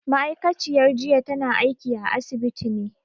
Ma'aikaciyar jiya tana aiki a asibiti ne